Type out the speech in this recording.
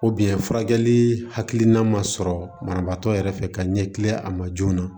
furakɛli hakilina ma sɔrɔ banabaatɔ yɛrɛ fɛ ka ɲɛkili a ma joona